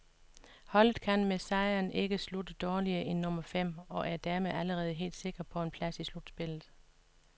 Holdet kan med sejren ikke slutte dårligere end nummer fem, og er dermed allerede helt sikre på en plads i slutspillet.